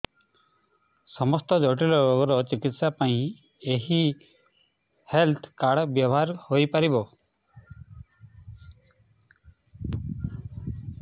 ସମସ୍ତ ଜଟିଳ ରୋଗର ଚିକିତ୍ସା ପାଇଁ ଏହି ହେଲ୍ଥ କାର୍ଡ ବ୍ୟବହାର ହୋଇପାରିବ